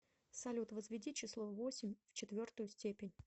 салют возведи число восемь в четвертую степень